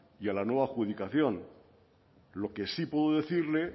y a la nueva adjudicación lo que sí puedo decirle